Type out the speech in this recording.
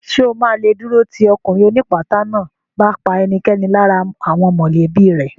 Ṣè o ma lè dúró tì ọkùnrin ó ní ìpátá náà bá pa ẹnikẹ́ni lára àwọn mọ̀lẹ́bí rẹ̀